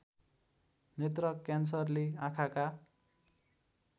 नेत्र क्यान्सरले आँखाका